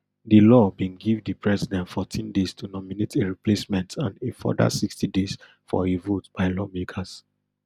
di law bin give di president fourteen days to nominate a replacement and a further sixty days for a vote by lawmakers